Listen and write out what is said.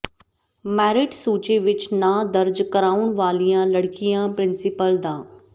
merit ਸੂਚੀ ਵਿਚ ਨਾਂ ਦਰਜ ਕਰਾਉਣ ਵਾਲੀਆਂ ਲੜਕੀਆਂ ਪ੍ਰਿੰਸੀਪਲ ਡਾ